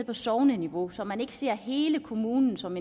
på sogneniveau så man ikke ser hele kommunen som